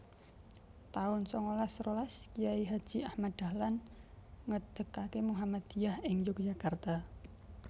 taun sangalas rolas Kyai Haji Ahmad Dahlan ngedegaké Muhammadiyah ing Yogyakarta